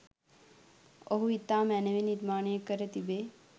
ඔහු ඉතා මැනවින් නිර්මාණය කර තිබේ.